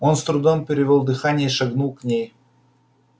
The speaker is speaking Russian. он с трудом перевёл дыхание и шагнул к ней